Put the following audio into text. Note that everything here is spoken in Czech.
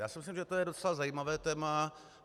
Já si myslím, že to je docela zajímavé téma.